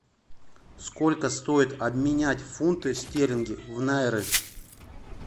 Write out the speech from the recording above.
сколько стоит обменять фунты стерлинги в найры